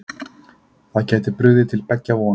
Það geti brugðið til beggja vona